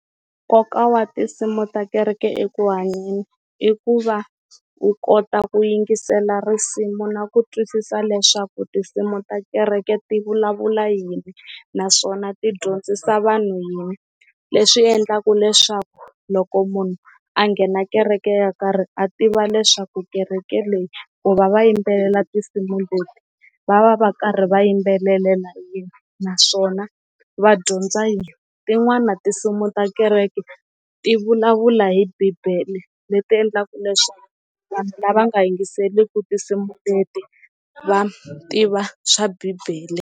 Nkoka wa tinsimu ta kereke eku hanyeni i ku va u kota ku yingisela risimu na ku twisisa leswaku tinsimu ta kereke ti vulavula yini, naswona ti dyondzisa vanhu yini leswi endlaka leswaku loko munhu a nghena kereke yo karhi a tiva leswaku kereke leyi ku va va yimbelela tinsimu leti va va va karhi va yimbelelela naswona va dyondza a yini, tin'wani tinsimu ta kereke ti vulavula hi bibele leti endlaku leswaku vanhu lava nga yingiseliku tinsimu teti va tiva swa bibele.